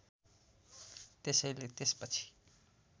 त्यसैले त्यसपछि